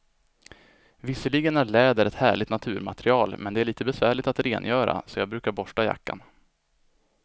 Visserligen är läder ett härligt naturmaterial, men det är lite besvärligt att rengöra, så jag brukar borsta jackan.